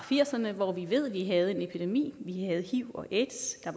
firserne hvor vi ved at vi havde en epidemi vi havde hiv og aids og